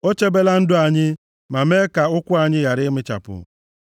O chebela ndụ anyị, ma mee ka ụkwụ anyị ghara ịmịchapụ.